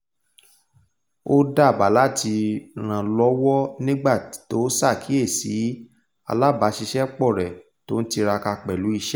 ó dábàá láti rànlọ́wọ́ nígbà tó sàkíyèsí alábàṣìṣépọ̀ rẹ̀ tó n tiraka pẹ̀lú iṣẹ́